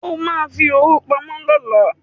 O ma fi owó pamọ́ lọ́la